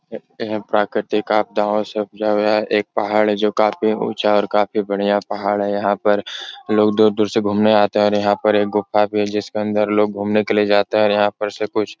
प्राकृतिक आपदाओं से एक पहाड है। जो काफी ऊँचा और काफी बढ़िया पहाड हैं। यहाँ पर लोग दूर-दूर से घूमने आते हैं और यहाँ एक गुफा भी हैं जिसके अंदर लोग घूमने के लिए जाते हैं और यहाँ पर से कुछ --